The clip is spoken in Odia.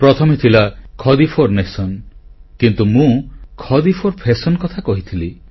ପ୍ରଥମେ ଥିଲା ଖାଡି ଫୋର ନ୍ୟାସନ କିନ୍ତୁ ମୁଁ ଖାଡି ଫୋର ଫ୍ୟାଶନ କଥା କହିଥିଲି